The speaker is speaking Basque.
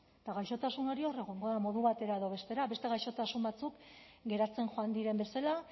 eta gaixotasun hori hor egongo da modu batera edo bestera beste gaixotasun batzuk geratzen joan diren bezala